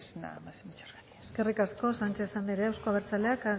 nada más y muchas gracias eskerrik asko sánchez anderea euzko abertzaleak